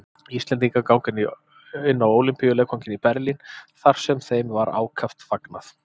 Íslendingar ganga inn á Ólympíuleikvanginn í Berlín, þar sem þeim var ákaft fagnað.